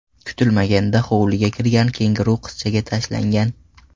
Kutilmaganda hovliga kirgan kenguru qizchaga tashlangan.